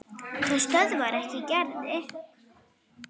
Það stöðvar ekki Gerði.